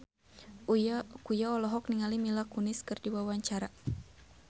Uya Kuya olohok ningali Mila Kunis keur diwawancara